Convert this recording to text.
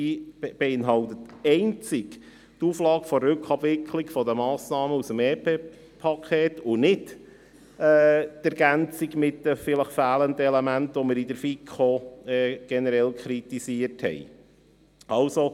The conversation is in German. Sie beinhaltet einzig die Rückabwicklung der Massnahmen aus dem EP und nicht die Ergänzung der vielleicht fehlenden Elemente, die wir in der FiKo generell kritisiert haben.